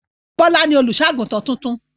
Bọ́lá ni olùṣọ́-àgùntàn tuntun.